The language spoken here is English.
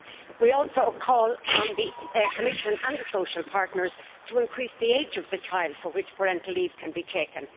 We also call on the Commission and the social partners to increase the age of the child for which parental leave can be taken